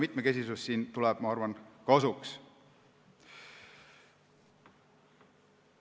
Mitmekesisus tuleb siin, ma arvan, kasuks.